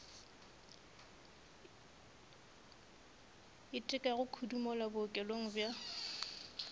itekago kudu mola bookelong bja